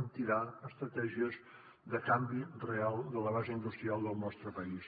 en tirar estratègies de canvi real de la base industrial del nostre país